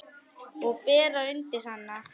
Og bera undir hana.